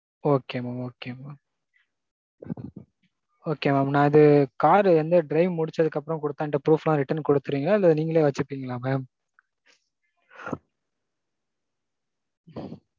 Okay mam okay mam. Okay mam. நான் இது car இந்த drive முடிச்சதும் அப்பறோம் குடுத்த இந்த proof எல்லாம் திருப்பி குடுத்திருவீங்களா இல்ல நீங்களே வெச்சுப்பீங்களா mam?